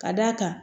Ka d'a kan